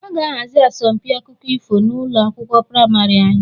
A ga-ahazi asọmpi akụkọ ifo n'ụlọ akwụkwọ praịmarị anyị